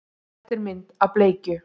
Þetta er mynd af bleikju.